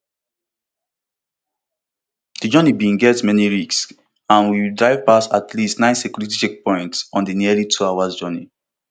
di journey bin get many risks and we drive past at least nine security checkpoints on di nearly twohour journey